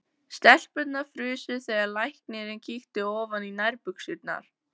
Stelpurnar frusu þegar læknirinn kíkti ofan í nærbuxurnar.